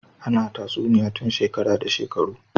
Ana tatsuniya tun shekara da shekaru